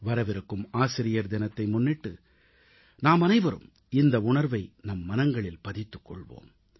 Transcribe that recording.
வரவிருக்கும் ஆசிரியர் தினத்தை முன்னிட்டு நாமனைவரும் இந்த உணர்வை நம் மனங்களில் பதித்துக்கொள்வோம்